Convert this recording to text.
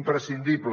imprescindible